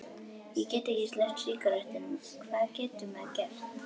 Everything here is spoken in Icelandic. Ég get ekki sleppt sígarettunum, hvað getur maður gert?